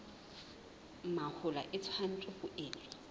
mahola e tshwanetse ho etswa